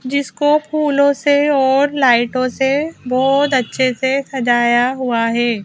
जिसको फूलों से और लाइटों से बहुत अच्छे से सजाया हुआ है।